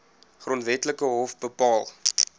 grondwetlike hof bepaal